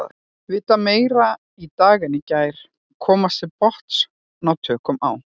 Vita meira í dag en í gær, komast til botns, ná tökum á.